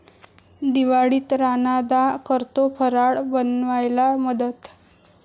दिवाळीत राणादा करतो फराळ बनवायला मदत!